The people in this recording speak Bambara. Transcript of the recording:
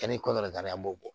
an b'o bɔ